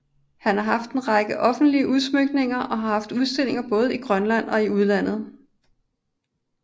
Han har haft en række offentlige udsmykninger og har haft udstillinger både i Grønland og i udlandet